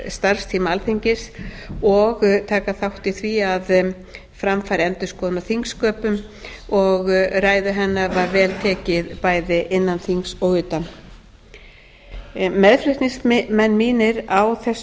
starfstíma alþingis og taka þátt í því að fram færi endurskoðun á þingsköpum og ræðu hennar var vel tekið bæði innan þings og utan meðflutningsmenn mínir á þessu